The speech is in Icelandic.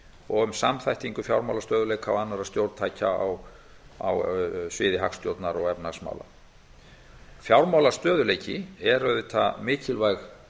og um samþættingu fjármálastöðugleika og annarra stjórntækja á sviði hagstjórnar og efnahagsmála fjármálastöðugleiki eru auðvitað mikilvæg